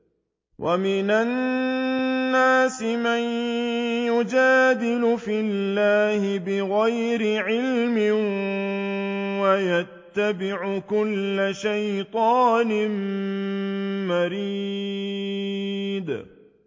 وَمِنَ النَّاسِ مَن يُجَادِلُ فِي اللَّهِ بِغَيْرِ عِلْمٍ وَيَتَّبِعُ كُلَّ شَيْطَانٍ مَّرِيدٍ